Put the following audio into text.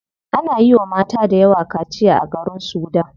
Ana yiwa mata dayawa kaciya a garin sudan.